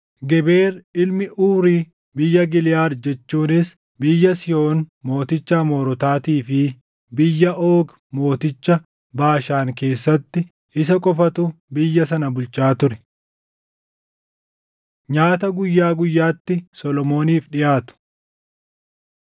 Geber ilmi Uuri biyya Giliʼaad jechuunis biyya Sihoon mooticha Amoorotaatii fi biyya Oogi mooticha Baashaan keessatti; isa qofatu biyya sana bulchaa ture. Nyaata Guyyaa Guyyaatti Solomooniif Dhiʼaatu